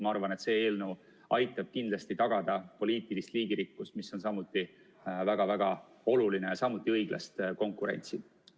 Ma arvan, et see eelnõu aitab kindlasti tagada poliitilist liigirikkust, mis on samuti väga-väga oluline, ja ka õiglast konkurentsi.